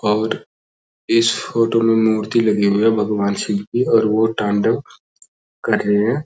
और इस फोटो में मूर्ति लगी हुई है भगवान शिव की और वो तांडव कर रहे है।